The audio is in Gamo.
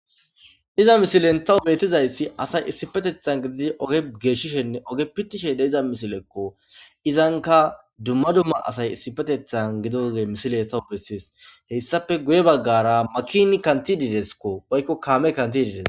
Iza misilen tawu beetizayssi asay issipetethan gididi oge geeshshishenne oge pittishe de iza misilekko izanka dumma dumma asay issipetethan gidoge misile tawu bessies heyssafe guye baggara makini kanti diideskko oykko kaame kanti diides